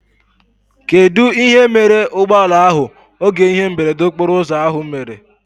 Kedụ ihe mere ụgbọala ahụ oge ihe mberede okporo ụzọ ahụ mere?